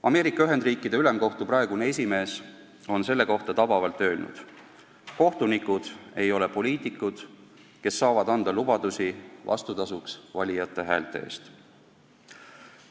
Ameerika Ühendriikide Ülemkohtu praegune esimees on selle kohta tabavalt öelnud: "Kohtunikud ei ole poliitikud, kes saavad anda lubadusi vastutasuks valijate häälte eest.